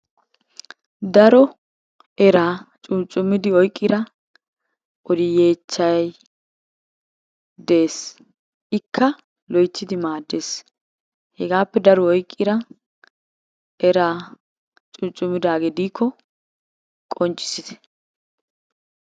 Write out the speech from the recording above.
Daro eraa cuucummidi oyqqida yeechchay dees. Ikka loyttidi maaddees. Hegaappe daruwa oyqqida eraa cuucumidaagee diikko qonccissite.